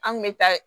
An kun bɛ taa